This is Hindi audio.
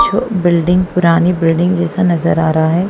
जो बिल्डिंग पुरानी बिल्डिंग जैसा नजर आ रहा हैं।